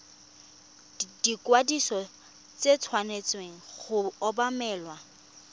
ikwadiso e tshwanetse go obamelwa